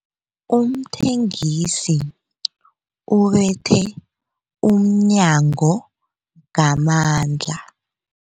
Umthengisi ubethe umnyango ngamandla.